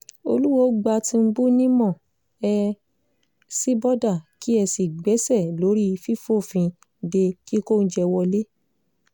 olùwòo gba tìǹbù nímọ̀ ẹ sì bọ́dà kí ẹ sì gbéṣẹ́ lórí fífòfin de kíkó oúnjẹ wọ̀lẹ̀